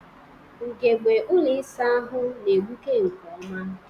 Ugogbe ụlọ ịsa ahụ na-egbuke nke ọma.